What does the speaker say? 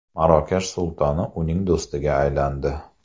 Marokash sultoni uning do‘stiga aylandi.